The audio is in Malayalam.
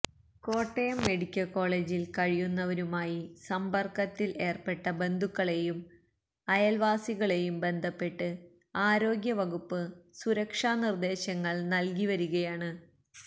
കോട്ടയം മെഡിക്കൽ കോളേജിൽ കഴിയുന്നവരുമായി സമ്പർക്കത്തിൽ ഏർപ്പെട്ട ബന്ധുക്കളെയും അയൽവാസികളെയും ബന്ധപ്പെട്ട് ആരോഗ്യവകുപ്പ് സുരക്ഷാ നിർദേശങ്ങൾ നൽകിവരികയാണ്